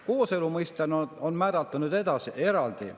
Kooselu mõiste on määratletud eraldi.